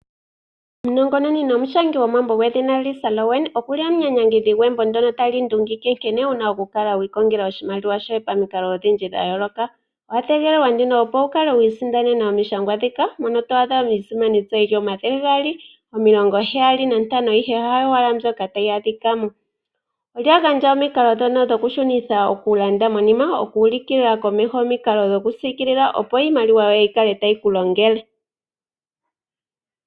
Omunongononi nomushangi gwomambo Lisa Rowan okuli omunyanyangidhi gwembo ndyono tali ndungike nkene wuna oku kala wiilongela oshimaliwa shoye pamikalo odhindji dha yooloka. Owa tegelelwa, opo wu kale wiisindanena omishangwa dhika mono twaadha iisimani tsa yili omathele 275, ihe hayo owala mbyoka tayi adhikamo. Olya gandja omikalo dhoka dhikushunitha okulanda monima dhokusikila omikalo dhokusiikilila, opo iimaliwa yoye yi kale tayi kulongele.